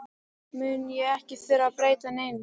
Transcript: mun ég ekki þurfa að breyta neinu.